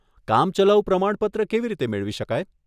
કામચલાઉ પ્રમાણપત્ર કેવી રીતે મેળવી શકાય?